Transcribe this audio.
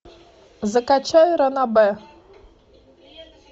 закачай ранобэ